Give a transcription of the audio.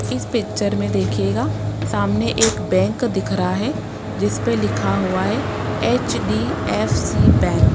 इस पिक्चर में देखिएगा सामने एक बैंक दिख रहा है जिसपे लिखा हुआ है एच_डी_एफ_सी बैंक --